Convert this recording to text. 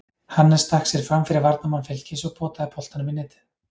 Hannes stakk sér framfyrir varnarmann Fylkis og potaði boltanum í netið.